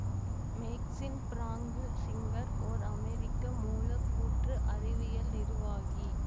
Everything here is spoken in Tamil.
மேக்சின் பிராங்கு சிங்கர் ஓர் அமெரிக்க மூலக்கூற்று அறிவியல் நிருவாகி